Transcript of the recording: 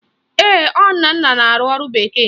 Ee, ọ Nnanna na-arụ ọrụ bekee